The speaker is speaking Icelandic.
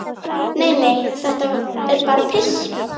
"""Nei, nei, þetta er bara piss."""